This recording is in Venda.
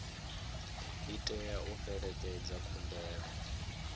i tea u fhelekedza khumbelo